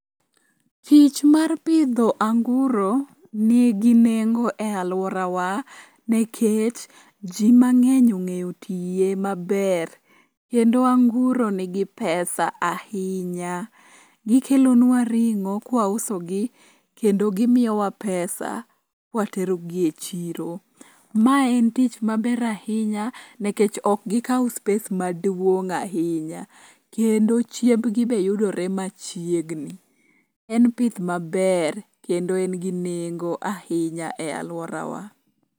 Tich mar pidho anguro nigi nengo e alworawa nekech ji mang'eny ong'eyo tiye maber kendo anguro nigi pesa ahinya. Gikelonwa ring'o kwausogi kendo gimiwa pesa kwaterogi e chiro. Ma en tich maber ahinya nekech ok gikaw space maduong' ahinya kendo chiembgi be yudore machiegni. En pith maber kendo en gi nengo ahinya e alworawa.